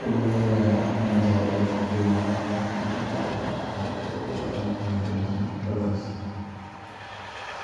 Gobollada Nyanza ee dalka Kenya waa qaar ka mid ah meelaha ugu taariikhda iyo dhaqan hodansan dalkaas,